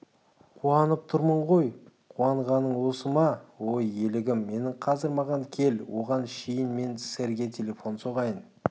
қуанып тұрмын ғой қуанғаның осы ма ой елігім менің қазір маған кел оған шейін мен сэрге телефон соғайын